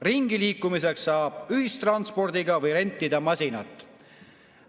Ringiliikumiseks saab kasutada ühistransporti või rentida masinat.